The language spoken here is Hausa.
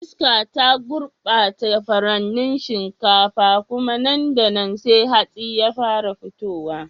Iska ta gurbata furannin shinkafa, kuma nan da nan sai hatsi ya fara fitowa.